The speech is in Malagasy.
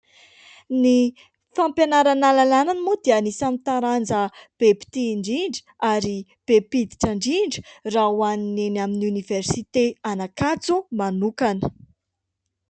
Ny sampam-pianarana lalàna moa dia anisany taranja isany be mpitia indrindra, ary be mpiditra indrindra, raha ho an'ny eny amin'ny Oniversite an'Ankatso manokana.